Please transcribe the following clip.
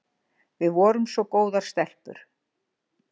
Við vorum svo góðar stelpur.